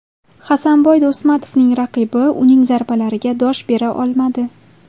Hasanboy Do‘stmatovning raqibi uning zarbalariga dosh bera olmadi .